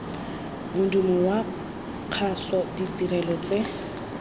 modumo wa kgaso ditirelo tse